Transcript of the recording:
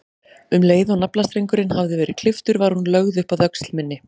Um leið og naflastrengurinn hafði verið klipptur var hún lögð upp að öxl minni.